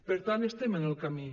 per tant estem en el camí